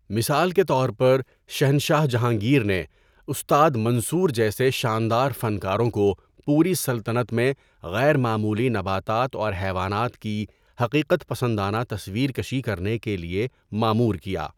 مثال کے طور پر، شہنشاہ جہانگیر نے استاد منصور جیسے شاندار فنکاروں کو پوری سلطنت میں غیر معمولی نباتات اور حیوانات کی حقیقت پسندانہ تصویر کشی کرنے کے لیے مامور کیا۔